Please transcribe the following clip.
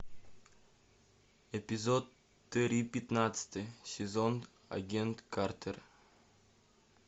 эпизод три пятнадцатый сезон агент картер